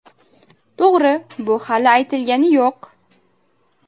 To‘g‘ri, bu hali aytilgani yo‘q.